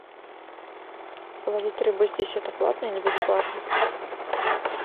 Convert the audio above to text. ловить рыбу здесь это платно или бесплатно